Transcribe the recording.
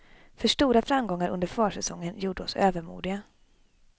För stora framgångar under försäsongen gjorde oss övermodiga.